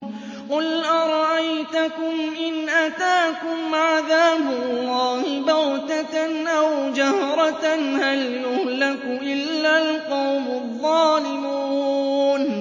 قُلْ أَرَأَيْتَكُمْ إِنْ أَتَاكُمْ عَذَابُ اللَّهِ بَغْتَةً أَوْ جَهْرَةً هَلْ يُهْلَكُ إِلَّا الْقَوْمُ الظَّالِمُونَ